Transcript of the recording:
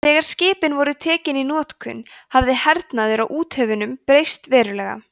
þegar skipin voru tekin í notkun hafði hernaður á úthöfum breyst verulega